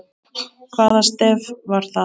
Hvaða stef var það?